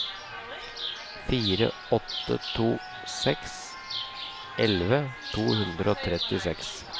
fire åtte to seks elleve to hundre og trettiseks